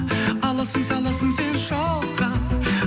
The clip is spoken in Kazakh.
аласың саласың сен шоққа